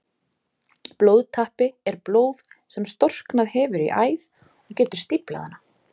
Blóðtappi er blóð sem storknað hefur í æð og getur stíflað hana.